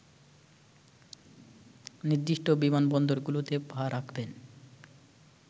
নির্দিষ্ট বিমানবন্দরগুলোতে পা রাখবেন